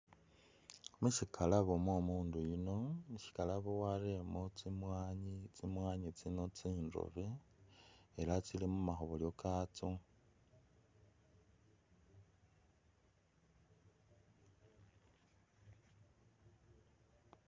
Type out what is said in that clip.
Mushikalabo mwomundu yuno mushikalabo arelemo tsimwanyi , tsimwanyi tsino tsindobe ela tsili mumakhobolyo katso